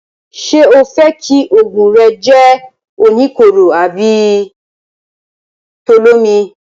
Ṣé o fẹ́ kí òògùn rẹ jẹ́ oníkóró tàbí olómi?